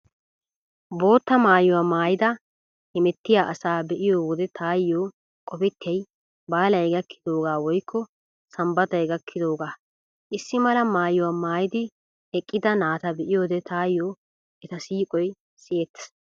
Bootta maayuwaa maayidi hemettiyaa asaa be'iyo wode taayyo qopettiyay baalay gakkidoogaa woykko sanbbatay gakkidoogaa. Issi mala maayuwaa maayidi eqqida naata be'iyoode taayyo eta siiqoy siyettees.